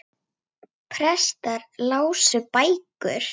Prestar lásu bækur.